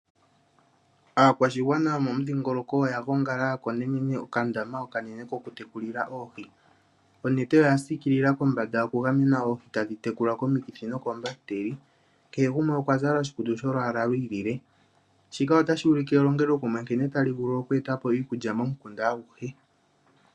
Aakwashigwana yomomudhingoloko oya gongala ya konene okandaama okanene kokutekulila oohi. Onete oya siikila kombanda okugamena oohi tadhi tekulwa komikithi nokoombahiteli. Kehe gumwe okwa zala oshikutu sholwaala lwi ilile, shika otashi ulike nkene elongelokumwe tali vulu oku eta po iikulya momukunda aguhe.